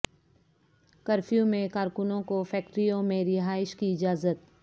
curfew میں کارکنوں کو فیکٹریوں میں رہائش کی اجازت